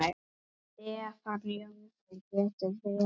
Stefán Jónsson getur verið